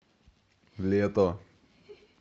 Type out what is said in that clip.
лето